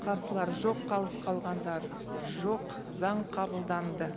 қарсылар жоқ қалыс қалғандар жоқ заң қабылданды